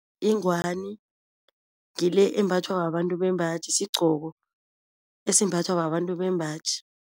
Ingwani ngile embathwa babantu bembaji, sigqoko esimbathwa babantu bembaji.